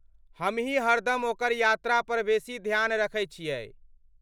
हमहीं हरदम ओकर यात्रापर बेसी ध्यान रखै छियै।